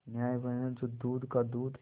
न्याय वह है जो दूध का दूध